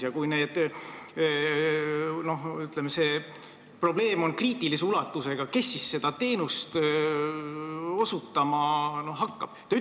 Ja kui see probleem on kriitilise ulatusega, siis kes neid teenuseid osutama hakkab?